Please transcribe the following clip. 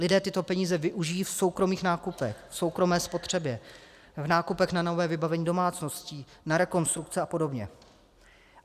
Lidé tyto peníze využijí v soukromých nákupech, v soukromé spotřebě, v nákupech na nové vybavení domácností, na rekonstrukce a podobně.